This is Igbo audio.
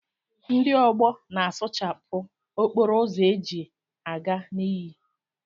Ndị ọgbọ na a sụchapụ okporo ụzọ eji a ga iyi.